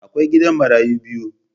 Akwai gidan marayu biyu.